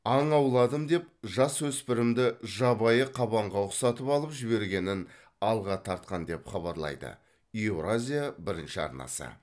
аң ауладым деп жасөспірімді жабайы қабанға ұқсатып алып жібергенін алға тартқан деп хабарлайды еуразия бірінші арнасы